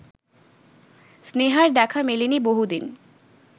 স্নেহার দেখা মেলেনি বহুদিন